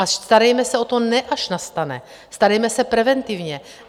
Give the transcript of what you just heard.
A starejme se o to, ne až nastane, starejme se preventivně.